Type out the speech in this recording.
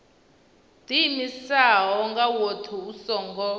ḓiimisaho nga woṱhe u songo